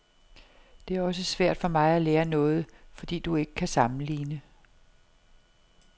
Det er også svært for mig at lære noget, fordi du ikke kan sammenligne.